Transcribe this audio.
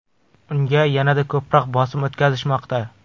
Unga yanada ko‘proq bosim o‘tkazishmoqda.